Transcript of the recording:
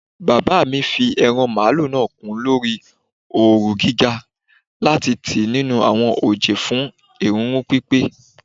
Baba mi fi eran malu naa kun lori ooru giga lati tii ninu awọn oje fun erunrun pipe